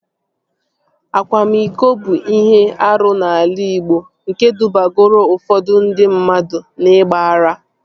Akwamiko bụ ihe arụ n'ala igbo nke dubagoro ụfọdụ ndị mmadụ n'igba ara